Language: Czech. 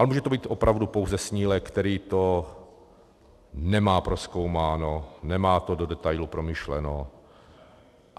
Ale může to být opravdu pouze snílek, který to nemá prozkoumáno, nemá to do detailu promyšleno.